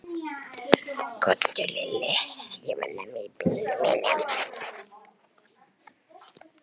Úlftýr, hvenær kemur vagn númer fjórtán?